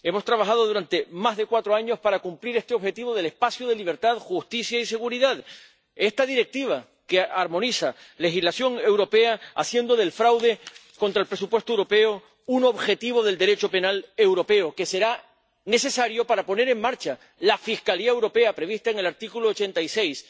Hemos trabajado durante más de cuatro años para cumplir este objetivo del espacio de libertad, justicia y seguridad, esta Directiva que armoniza legislación europea, haciendo del fraude contra el presupuesto europeo un objetivo del Derecho penal europeo que será necesario para poner en marcha la Fiscalía Europea, prevista en el artículo 86,